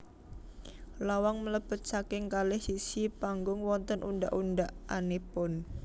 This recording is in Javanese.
Lawang mlebet saking kalih sisih panggung wonten undhak undhakanipun